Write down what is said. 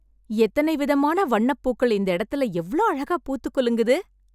எத்தன விதமான வண்ணப் பூக்கள், இந்த இடத்துல எவ்ளோ அழகா பூத்துக் குலுங்குது..